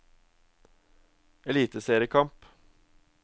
eliteseriekamp